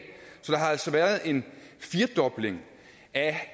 så der har altså været en firedobling af